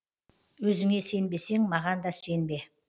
өзіңе сенбесең маған да сенбе